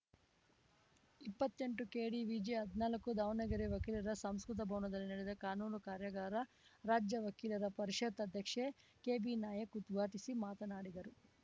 ಇಪ್ಪತ್ತೆಂಟುಕೆಡಿವಿಜಿಹದ್ನಾಲಕ್ಕು ದಾವಣಗೆರೆ ವಕೀಲರ ಸಾಂಸ್ಕೃತಿಕ ಭವನದಲ್ಲಿ ನಡೆದ ಕಾನೂನು ಕಾರ್ಯಾಗಾರ ರಾಜ್ಯ ವಕೀಲರ ಪರಿಷತ್‌ ಅಧ್ಯಕ್ಷೆ ಕೆಬಿನಾಯಕ್ ಉದ್ಘಾಟಿಸಿ ಮಾತನಾಡಿದರು